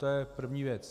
To je první věc.